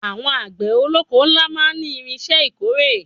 Àwọn àgbẹ̀ olóko ńlá máa ní irinṣẹ́ ìkórè.